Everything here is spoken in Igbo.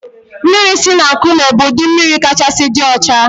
Mmiri si na nkụme bụ ụdị mmiri kachasị dị ọcha